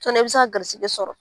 i be se ka garisɛgɛ sɔrɔ.